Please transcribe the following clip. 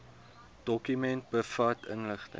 dokument bevat inligting